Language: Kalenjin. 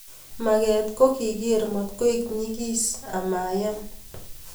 Maget ko ki keger matkoek nyigis amayam.